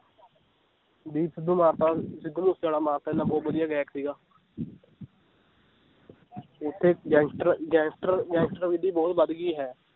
ਦੀਪ ਸਿੱਧੂ ਮਾਰਤਾ ਸਿੱਧੂ ਮੂਸੇਵਾਲਾ ਮਾਰਤਾ ਇੰਨਾ ਬਹੁਤ ਵਧੀਆ ਗਾਇਕ ਸੀਗਾ ਓਥੇ gangster, gangster gangster ਵਿਧੀ ਬਹੁਤ ਵਧ ਗਈ ਹੈ l